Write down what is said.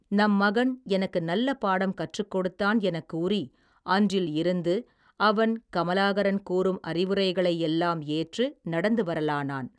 நம் மகன் எனக்கு நல்ல பாடம் கற்றுக் கொடுத்தான் எனக் கூறி அன்றில் இருந்து அவன் கமலாகரன் கூறும் அறிவுரைகளை எல்லாம் ஏற்று நடந்து வரலானான்.